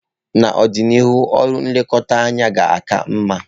N'ọdịnihu, ọrụ nlekọta anya ga-aka mma.